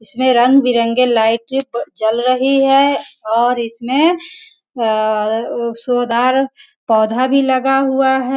इसमें रंग-बिरंगे लाइट जल रही है और इसमें सोधार पौधा भी लगा हुआ है।